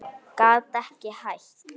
Gat ekki hætt.